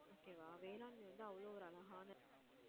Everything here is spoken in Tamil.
okay வா வேளாண்மை வந்து அவ்ளோ ஒரு அழகான